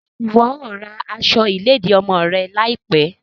Ṣe iwọ yoo ra aṣọ iledi ọmọ rẹ laipẹ?